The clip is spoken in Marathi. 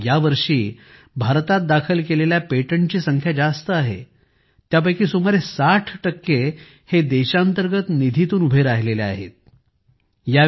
या वर्षी भारतात दाखल केलेल्या पेटंटची संख्या जास्त आहे त्यापैकी सुमारे 60 हे देशांतर्गत निधी तून उभे राहिले होते